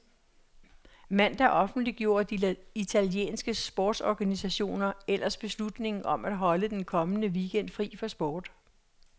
Mandag offentliggjorde de italienske sportsorganisationer ellers beslutningen om at holde den kommende weekend fri for sport.